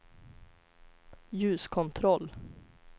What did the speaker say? ljuskontroll